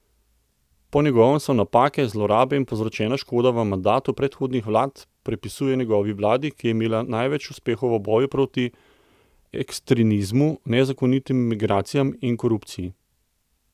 Po njegovem se napake, zlorabe in povzročena škoda v mandatu predhodnih vlad pripisuje njegovi vladi, ki je imela največ uspehov v boju proti ekstremizmu, nezakonitim migracijam in korupciji.